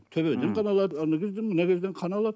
төбеден қан алады ана жерден мына жерден қан алады